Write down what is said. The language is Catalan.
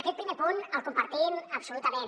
aquest primer punt el compartim absolutament